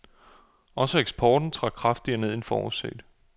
Også eksporten trak kraftigere end forudset.